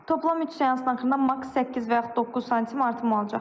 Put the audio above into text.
Toplam üç seansın axırında mak 8 və yaxud 9 sm artım olacaq.